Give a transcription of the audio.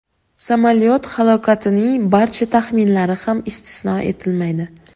Samolyot halokatining barcha taxminlari ham istisno etilmaydi.